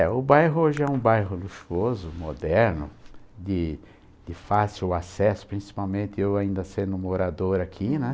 É, o bairro hoje é um bairro luxuoso, moderno, de de fácil acesso, principalmente eu ainda sendo morador aqui, né?